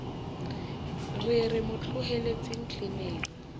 re re mo tlohelletseng tleneng